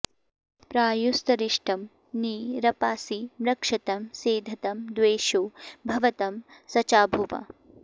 प्रायु॒स्तारि॑ष्टं॒ नी रपां॑सि मृक्षतं॒ सेध॑तं॒ द्वेषो॒ भव॑तं सचा॒भुवा॑